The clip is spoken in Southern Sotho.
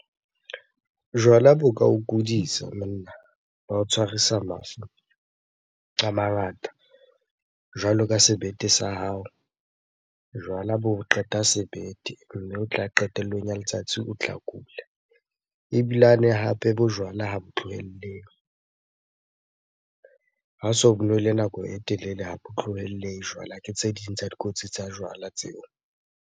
Jwala bo ka o kudisa monna, ba o tshwarisa mafu a mangata jwalo ka sebete sa hao. Jwala bo qeta sebete mme o tla qetellong ya letsatsi o tla kula. Ebilane hape bojwala ha bo tlohellehe, ha o so bo nwele nako e telele ha bo tlohellehe jwala. Ke tse ding tsa dikotsi tsa jwala tseo.